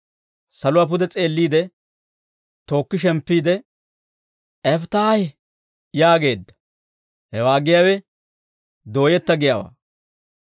Saluwaa pude s'eelliide, tookki shemppiide, «Eftahi» yaageedda; hewaa giyaawe dooyetta giyaawaa.